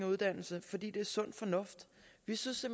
uddannelse fordi det er sund fornuft vi synes